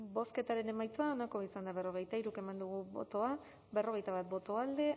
bozketaren emaitza onako izan da hirurogeita hamabost eman dugu bozka berrogeita bat boto alde